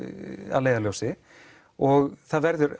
að leiðarljósi og það verður